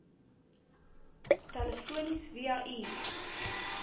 telefonies via e